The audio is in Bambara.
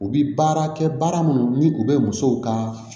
U bi baara kɛ baara minnu ni u bɛ musow ka